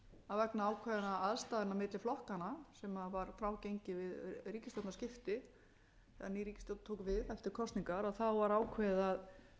að vegna ákveðinna aðstæðna milli flokkanna sem var frágengið við ríkisstjórnarskipti þegar ný ríkisstjórn tók við eftir kosningar var ákveðið að